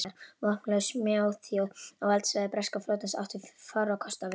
Vopnlaus smáþjóð á valdsvæði breska flotans átti fárra kosta völ.